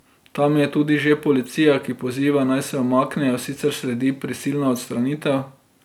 Tam je tudi že policija, ki poziva, naj se umaknejo, sicer sledi prisilna odstranitev.